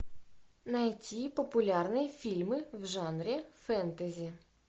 найти популярные фильмы в жанре фэнтези